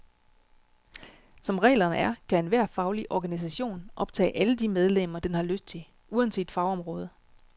Som reglerne er, kan enhver faglig organisation optage alle de medlemmer, den har lyst til, uanset fagområde.